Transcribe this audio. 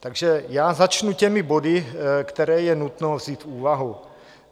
Takže já začnu těmi body, které je nutno vzít v úvahu.